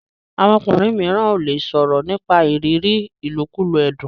àwọn ọkùnrin míràn o le sòrò nípa ìrírí ilokulo ẹdun.